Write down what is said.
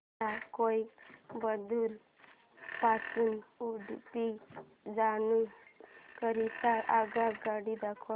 मला कोइंबतूर पासून उडुपी जाण्या करीता आगगाड्या दाखवा